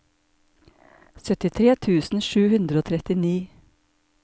syttitre tusen sju hundre og trettini